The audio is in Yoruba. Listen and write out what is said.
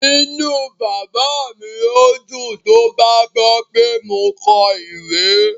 Inú bàbá mi yóò dùn tó bá gbọ́ pé mo kọ ìwé